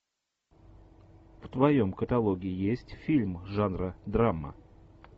в твоем каталоге есть фильм жанра драма